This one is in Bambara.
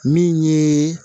Min ye